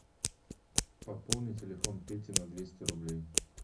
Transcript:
пополни телефон пети на двести рублей